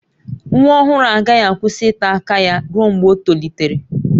Nwa ọhụrụ agaghị akwụsị ịta aka ya ruo mgbe o tolitere